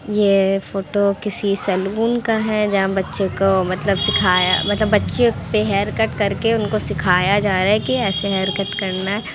ये फोटो किसी सलून का है जहाँ बच्चे को मतलब सिखाया मतलब बच्चो पे हेअरकट करके उनको सिखाया जा रहा है की ऐसे हेयरकट करना है।